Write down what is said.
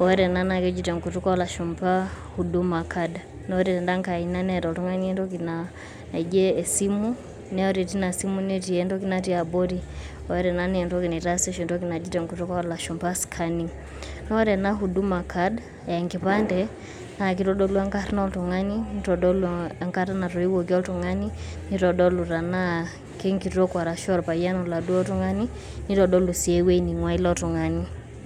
wore enaa keji tenkutuk olashumpa huduma card wore tenda ngae aina neta oltungani entoki naijio esimu nawore tina simu neti entoki naijio ketii entoki natii abori wore enaa naa kitaasi tentoki naji tenkutuk olashumpa scanning wore ena huduma card naa enkipande naitodolu enkarna oltung'ani wenkata naitowuoki oltung'ani nitodolu tenaa kenkitok arashu oladuo tung'ani nitodolu sii ewueji ning'uaa ilo tung'ani